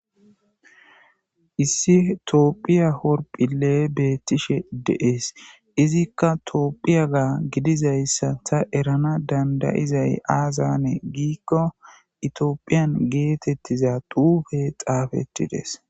Issi tophphiya urroppile betteshe de'es izikka tophphiyaga gidizaysa ta eranas dandaizay azzan gikko tophphiya gettetiza xuffe xaffeththides.